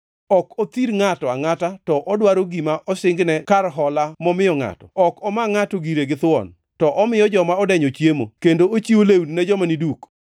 Ok othir ngʼato angʼata to odwoko gima osingne kar hola momiyo ngʼato Ok omaa ngʼato gire githuon, to omiyo joma odenyo chiemo kendo ochiwo lewni ne joma ni duk.